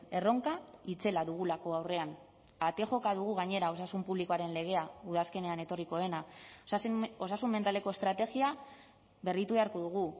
erronka itzela dugulako aurrean ate joka dugu gainera osasun publikoaren legea udazkenean etorriko dena osasun mentaleko estrategia berritu beharko dugu